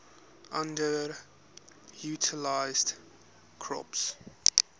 underutilized crops